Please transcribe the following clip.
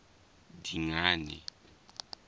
dingane